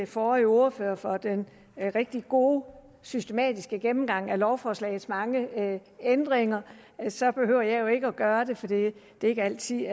forrige ordfører for den rigtig gode systematiske gennemgang af lovforslagets mange ændringer så behøver jeg jo ikke at gøre det for det er ikke altid